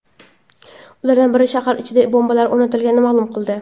Ulardan biri shahar ichida bombalar o‘rnatilganini ma’lum qildi .